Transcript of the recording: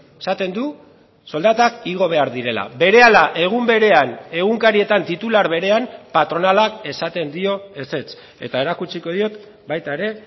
esaten du soldatak igo behar direla berehala egun berean egunkarietan titular berean patronalak esaten dio ezetz eta erakutsiko diot baita ere